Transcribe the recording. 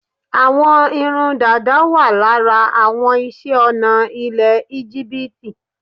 Àwọn irun dàda wà lára àwọn iṣẹ́-ọnà ilẹ̀ Íjíbítì.